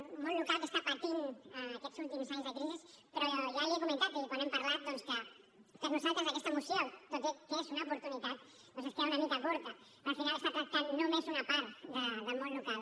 un món local que està patint aquests últims anys de crisi però ja li he comentat quan n’hem parlat doncs que per nosaltres aquesta moció tot i que és una oportunitat doncs es queda una mica curta perquè al final està tractant només una part del món local